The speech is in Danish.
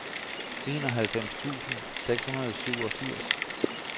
enoghalvfems tusind seks hundrede og syvogfirs